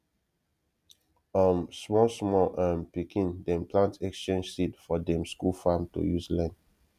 um small small um pikin dem plant exchange seed for dem school farm to use learn